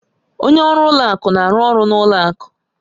Onye ọrụ ụlọ akụ na-arụ ọrụ n'ụlọ akụ